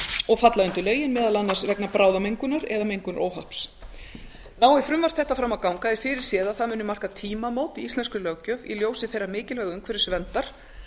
og falla undir lögin meðal annars vegna bráðamengunar eða mengunaróhapps nái frumvarp þetta fram að ganga er fyrirséð að það muni marka tímamót í íslenskri löggjöf í ljósi þeirra mikilvægu umhverfisverndar